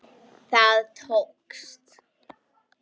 Það tókst.